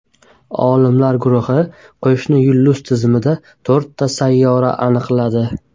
Olimlar guruhi qo‘shni yulduz tizimida to‘rtta sayyora aniqladi.